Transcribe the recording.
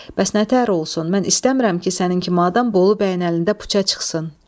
Bəs nə təhər olsun, mən istəmirəm ki, sənin kimi adam Bolu bəyin əlində puça çıxsın.